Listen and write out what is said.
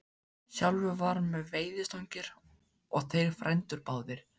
Sjálfur var hann með veiðistangir og þeir frændur báðir.